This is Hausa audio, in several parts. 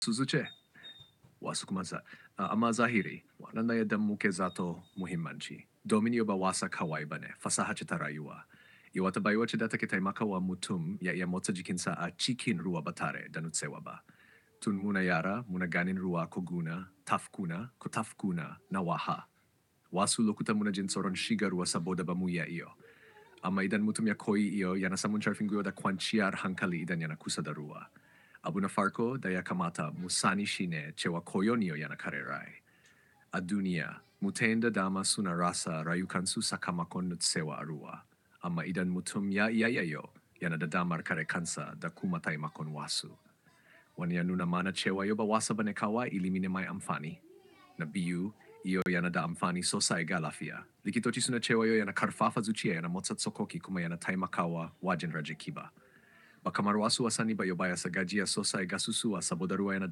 Suzu ce? Wa su kuma za. Amma zahiri wa nan daya dammu ke za to muhimman ci. Domin yo ba wasa kawai ba ne. Fasaha ce ta rayuwa. Iwa ta bay wace da ta ke taimakawa mutum ya iya motsa jikinsa a cikin ruwa ba tare da nutsewa ba. Tun muna yara muna ganin ruwa ko guna, taf kuna ko taf kuna na waha. Wa su lokuta muna jin tsoron shiga ruwa saboda bamuyi iyo. Amma idan mutum ya koyi iyo yana samun jarfin guda kwan ci'ar hankali idan yana kusa da ruwa. Abu na farko da ya kamata mu sani shine cewa koyon iyo yana kare rai. A duniya, mutane da dama suna rasa rayukansu sakamakon nutsewa a ruwa. Amma idan mutum ya iya iyo, yana da damar kare kansa da kuma taimakon wasu. Wani ya nuna mana cewa yau ba wasa bane kawai ilimi ne mai amfani. Na biyu, iyo yana da amfani sosai ga lafiya. Likitoci suna cewa yau yana qarfafa zuciyoyi wajen rage ƙiba ba kamar wasu wasanni ba yobaya sa gajiya sosai ga su suwa saboda ruwa yana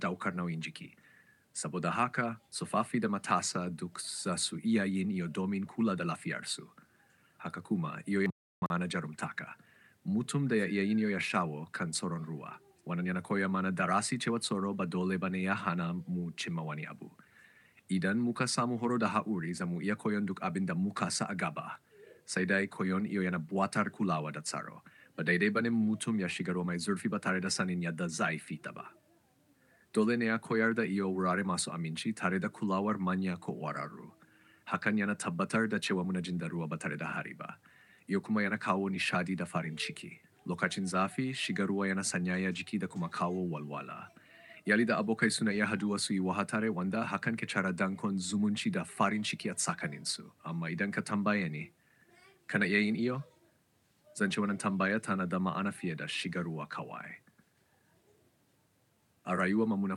daukar nauyin jiki. Saboda haka, tsofaffi da matasa duk za su iya yin iyo domin kula da lafiyarsu. Haka kuma, iyo yana nuna mana jarumtaka. Mutum daya iya iyo yana shawo kan tsoron ruwa wannan yana koyanamana darasi tsoro ba dole bane hanamu cimma wani abu idan muka samu horo da haƙuri zamu iya koyon duk abin da muka sa'aga ba. Sai dai koyon iyo yana buƙatar kulawa da tsaro. Ba dai dai nane mutumnyashiga ruwa mai zurfi batare da sanin yadda zaya fitaba. Dole ne a koyar da iyo wurare masu aminci tare da kulawar manya ko wararu. Hakan yana tabbatar da cewa muna jin da ruwa ba tare da harba. Iyo kuma yana kawo nishaɗi da farin ciki. Lokacin zafi, shiga ruwa yana sanyaya jiki da kuma kawo walwala. Iyali da abokai suna iya haduwa su yi wahatare wanda hakan ke tsara dangon zumunci da farin ciki a tsakaninsu. Amma idan ka tambayi ni, kana iya yin iyo? Zan ce wannan tambaya tana da ma'ana fiye da shiga ruwa kawai. A rayuwa muna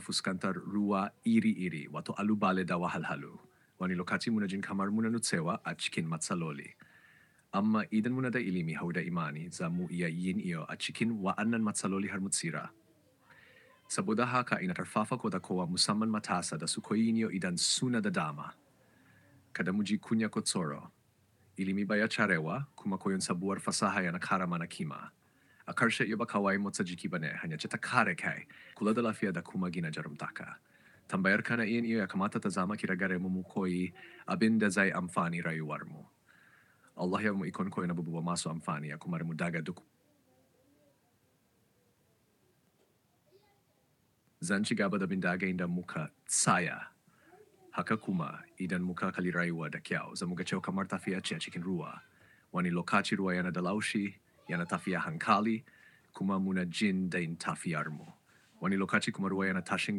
fuskantar ruwa iri-iri wato ƙalubale da wahalhalu. Wani lokaci muna jin kamar muna nutsewa a cikin matsaloli. Amma idan munada ilimi da haɗa da imani zamuiya yin iyo a cikin wananna matsaloli harmu tsira saboda haka ina ƙarfafa ku da kowa mu saman matasa da su koyi iyo idan suna da dama. Kada mu ji kunya ko tsoro. Ilimi baya cewa kuma koyon sabuwar fasaha yana ƙara mana kima. A ƙarshe yau ba kawai motsa jiki bane, hanyar ceta kare kai, kula da lafiya da kuma gina jarumtaka. Tambayar kana iya yin iyo ya kamata ta zama kira gare mu mu koyi abin da zai amfani rayuwar mu. Allah ya bamu ikon koyon abubuwa masu amfani ya kuma rammuda ga duk. Zan ci gaba da bin dage inda muka tsaya. Haka kuma, idan muka kalli rayuwa da kyau zamu ga cewa kamar tafiya ce a cikin ruwa. Wani lokaci ruwa yanada laushi yana tafita a hankali kuma munadai jin tafiyar. Wani lokaci kuma ruwa yana tashin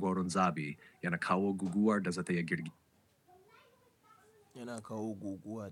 goron zabi, yana kawo guguwar da za ta iya girki. Yana kawo guguwar.